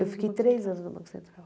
Eu fiquei três anos no Banco Central.